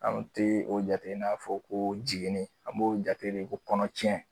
Anw tɛe o jate n'a fɔ ko jiginni an b'o jate de ko kɔnɔ cɛn